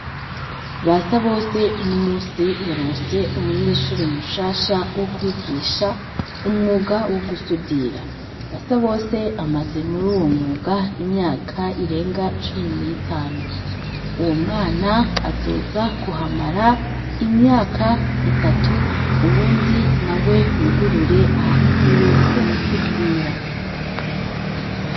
Basabose ,uno musi yaronse umunyeshure mushasha wo kwigisha umwuga wo gusudira. Basabose amaze muruwo mwuga, imyaka irenga cumi n'itanu. Uwo mwana azoza kuhamara ,imyaka itatu ,ubundi nawe yugurure ahantu hiwe h’ugusudira.